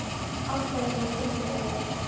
Alltaf er hún að koma honum á óvart.